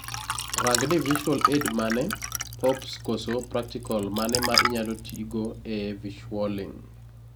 rang ni visual aid mane, pops koso practical mane ma inyalo tigo ee visualing